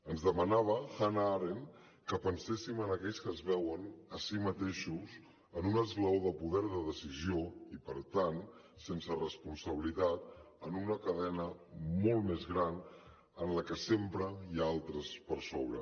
ens demanava hannah arendt que penséssim en aquells que es veuen a si mateixos en un esglaó del poder de decisió i per tant sense responsabilitat en una cadena molt més gran en la que sempre hi ha altres per sobre